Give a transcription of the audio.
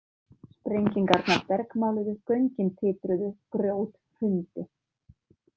Sprengingarnar bergmáluðu, göngin titruðu, grjót hrundi.